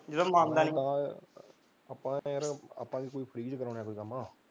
ਜਿਹੜਾ ਮੰਨਦਾ ਨੀ ਆਪਾਂ ਤਾਂ ਯਾਰ ਕਿਹੜਾ ਫਰੀ ਚ ਕਰਵਾਉਣਾ ਕੋਈ ਕੰਮ